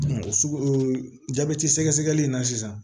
o sugujɔbɛti sɛgɛsɛgɛli in na sisan